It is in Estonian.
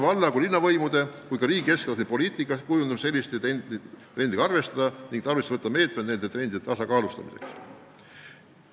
Valla- ja linnavõimude, samuti riigi keskvalitsuse poliitika kujundamisel tuleb selliste trendidega arvestada ning kavandada meetmed protsesside tasakaalustamiseks.